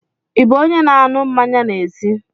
Ị bụ onye na-aṅụ mmanya n'ezi?